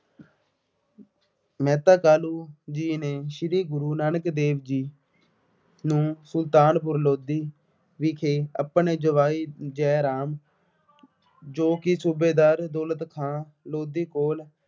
ਮਹਿਤਾ ਕਾਲੂ ਜੀ ਨੇ ਸ਼੍ਰੀ ਗੁਰੂ ਨਾਨਕ ਦੇਵ ਜੀ ਨੂੰ ਸੁਲਤਾਨਪੁਰ ਲੋਧੀ ਵਿਖੇ ਆਪਣੇ ਜਵਾਈ ਜੈ ਰਾਮ ਜੋ ਕਿ ਸੂਬੇਦਾਰ ਦੌਲਤ ਖਾਂ ਲੋਧੀ ਕੋਲ